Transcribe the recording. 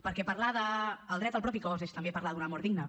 perquè parlar del dret al propi cos és també parlar d’una mort digna